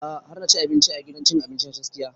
A'a har na ci abinci a gidan cin abinci na tastia